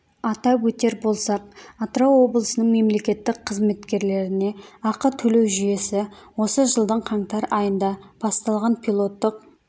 атап өтер болсақ атырау облысының мемлекеттік қызметкерлеріне ақы төлеу жүйесі осы жылдың қаңтар айында басталған пилоттық